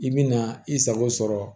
I bi na i sago sɔrɔ